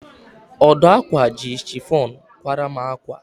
Ọdụ ákwà ji chifọn kwara m ákwà.